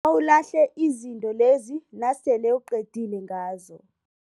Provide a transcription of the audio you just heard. Ngibawa ulahle izinto lezi nasele uqedile ngazo.